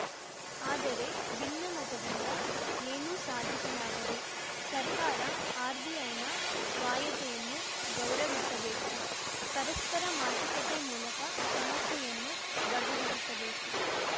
ಆದರೆ ಭಿನ್ನಮತದಿಂದ ಏನೂ ಸಾಧಿಸಲಾಗದು ಸರ್ಕಾರ ಆರ್‌ಬಿಐ ನ ಸ್ವಾಯತ್ತೆಯನ್ನು ಗೌರವಿಸಬೇಕು ಪರಸ್ಪರ ಮಾತುಕತೆ ಮೂಲಕ ಸಮಸ್ಯೆಯನ್ನು ಬಗೆಹರಿಸಬೇಕು